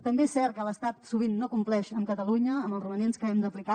també és cert que l’estat sovint no compleix amb catalunya amb els romanents que hem d’aplicar